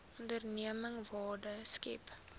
onderneming waarde skep